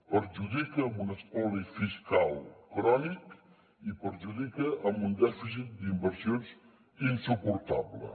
perjudica amb un espoli fiscal crònic i perjudica amb un dèficit d’inversions insuportable